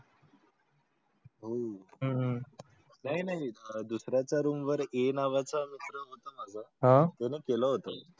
हम्म नाही नाही दुसर् याचा रूम वर ये A नावाचा मित्र होता माझा त्यानी केलं होतं.